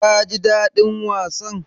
Ka ji daɗin wasan?